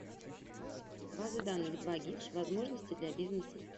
базы данных двагис возможности для бизнеса